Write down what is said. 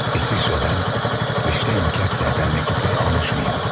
İsveçrədən və Şteynhokkerdən məktublar almışmıyım?